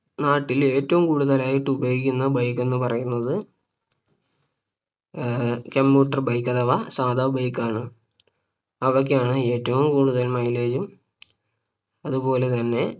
നാട്ടിൽ ഏറ്റവും കൂടുതൽ ആയിട്ട് ഉപയോഗിക്കുന്ന Bike എന്ന് പറയുന്നത് ഏർ commuter bike അഥവാ സാധാ Bike ആണ് അവയ്ക്കാണ് ഏറ്റവും കൂടുതൽ Mileage ഉം അതുപോലെ തന്നെ